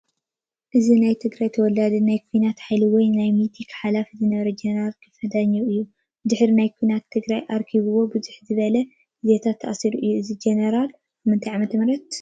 እዚ ናይ ትግራይ ተወላዲ ናይ ኩናት ሓይሊ ወይ ናይ ሚቴክ ሓላፊ ዝነበረ ጀነራል ክንፈ ጃኘው እዩ። ብድሕሪ ናይ ትግራይ ኩናት ኣርክቢዎ ብዙሕ ዝበለ ግዜታት ተኣሲሩ እዩ :: እዚ ጀነራል እዚ ብመዓስ ዓ/ም ?